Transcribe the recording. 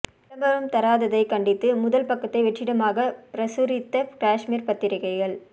விளம்பரம் தராததை கண்டித்து முதல் பக்கத்தை வெற்றிடமாக பிரசுரித்த காஷ்மீர் பத்திரிகைகள்